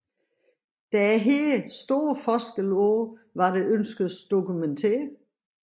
Der er her store forskelle på hvad der ønskes dokumenteret